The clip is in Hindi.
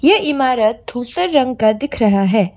ये इमारत धुसर रंग का दिख रहा है।